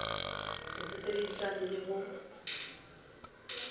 ho se sebedisane le ho